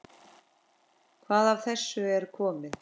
Hvað af þessu er komið?